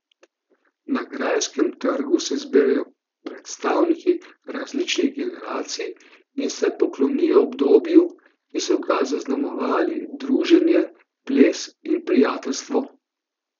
Na Grajskem trgu se zberejo predstavniki različnih generacij in se poklonijo obdobju, ki so ga zaznamovali druženje, ples in prijateljstvo.